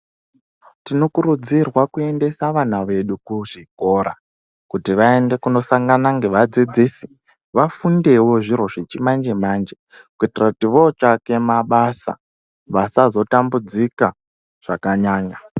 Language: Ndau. Tinokurudzirwa kuendesa vana vedu kuzvikora kutivaende kunosangana ngevadzidzisi. Vafundevo zviro zvechimanje-manje, kuitira kuti votswake mabasa vasazo tambudzika zvakanyanya.